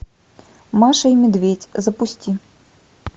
маша и медведь запусти